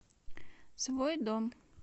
свой дом